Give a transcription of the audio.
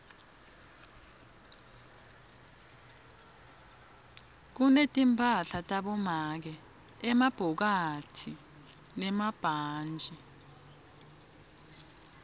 kunetimphahla tabomake emabhokathi nemabhantji